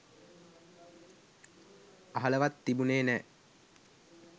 අහලවත් තිබුණේ නැහැ.